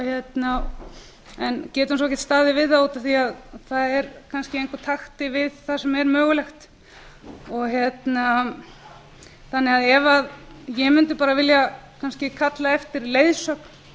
getum svo ekkert staðið við það út af því að það er kannski í engum takti við það sem mögulegt er ég mundi bara vilja kannski kalla eftir leiðsögn